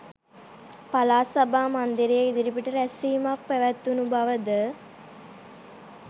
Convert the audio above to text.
පළාත් සභා මන්දිරය ඉදිරිපිට රැස්වීමක් පැවැත්වුණු බවද